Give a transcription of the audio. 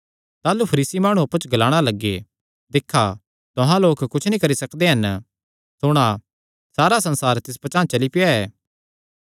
ताह़लू फरीसी माणु अप्पु च ग्लाणा लग्गे दिक्खा तुहां लोक कुच्छ नीं करी सकदे हन सुणा सारा संसार तिस पचांह़ चली पेआ ऐ